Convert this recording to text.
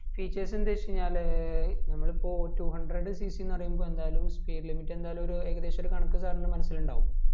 features എന്തര് വെച് കയിഞ്ഞാല് നമ്മൾ ഇപ്പോ two hundred cc ന്ന് പറീമ്പോൾ എന്തായാലും speed limit എന്തായാലും ഒരു ഏകദേശ കണക്ക്‌ sir ൻ്റെ മനസിൽ ഇണ്ടാകും